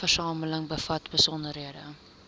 dataversameling bevat besonderhede